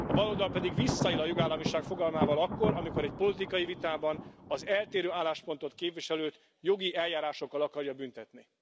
A baloldal pedig visszaél a jogállamiság fogalmával akkor, amikor egy politikai vitában az eltérő álláspontot képviselőt jogi eljárásokkal akarja büntetni.